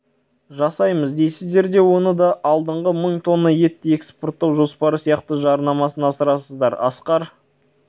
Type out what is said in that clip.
жасаймыз дейсіздер де оны да алдыңғы мың тонна етті экспорттау жоспары сияқты жарнамасын асырасыздар асқар